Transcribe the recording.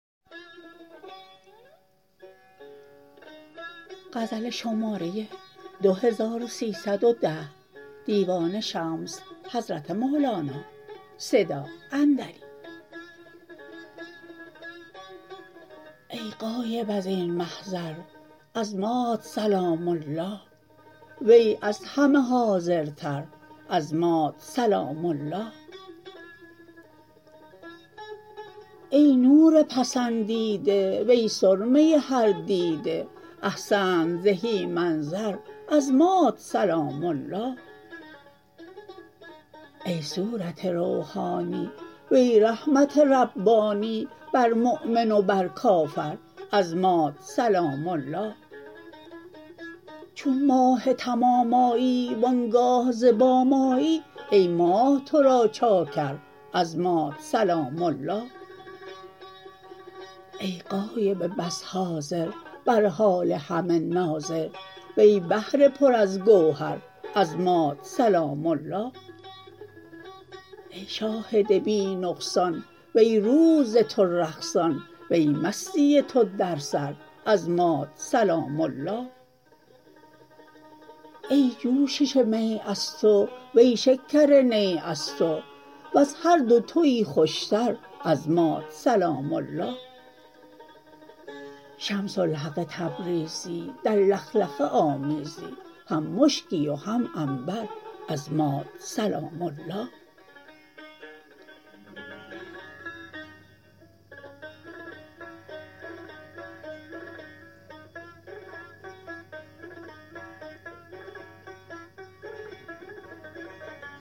ای غایب از این محضر از مات سلام الله وی از همه حاضرتر از مات سلام الله ای نور پسندیده وی سرمه هر دیده احسنت زهی منظر از مات سلام الله ای صورت روحانی وی رحمت ربانی بر مؤمن و بر کافر از مات سلام الله چون ماه تمام آیی و آن گاه ز بام آیی ای ماه تو را چاکر از مات سلام الله ای غایب بس حاضر بر حال همه ناظر وی بحر پر از گوهر از مات سلام الله ای شاهد بی نقصان وی روح ز تو رقصان وی مستی تو در سر از مات سلام الله ای جوشش می از تو وی شکر نی از تو وز هر دو توی خوشتر از مات سلام الله شمس الحق تبریزی در لخلخه آمیزی هم مشکی و هم عنبر از مات سلام الله